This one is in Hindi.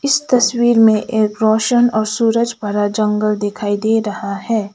इस तस्वीर में एक रोशन और सूरज भारा जंगल दिखाई दे रहा है।